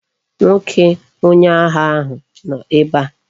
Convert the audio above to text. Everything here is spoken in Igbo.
Nwoke onye agha ahu no ebe a